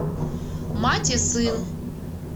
мать и сын